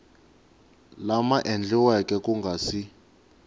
lama endliweke ku nga si